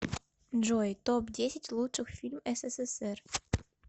джой топ десять лучших фильм ссср